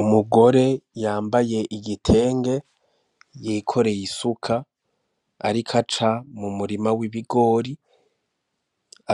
Umugore yambaye igitenge yikoreye isuka, ariko aca mu murima w'ibigori